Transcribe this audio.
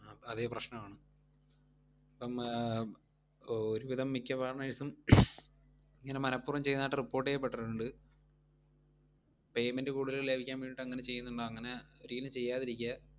അതെ പ്രശ്നമാണ് അപ്പം ആഹ് ഒരുവിധം മിക്ക partners ഉം ഇങ്ങനെ മനപൂർവ്വം ചെയ്യുന്നായിട്ടു report ചെയ്യപ്പെട്ടിട്ടിണ്ട്. Payment കൂടുതൽ ലഭിക്കാൻ വേണ്ടീട്ടങ്ങനെ ചെയ്യുന്നുണ്ട്. അങ്ങനെ ഒരിക്കലും ചെയ്യാതിരിക്യാ.